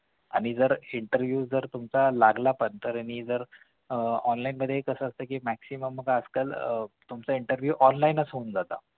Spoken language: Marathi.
आणि तर interview जर लागला तुमचा पद्धतीने तर आह online मध्ये कसं असतं कि maximum लोकं आजकाल तुमचा interview online होऊन जातं